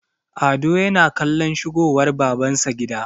ado yana kallon shigowar babansa gida